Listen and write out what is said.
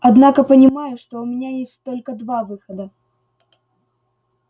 однако понимаю что у меня есть только два выхода